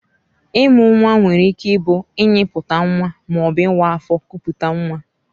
Ịmụ nwa nwere ike ịbụ ịnyịputa nwa ma ọ bụ ịwa afọ kupute nwa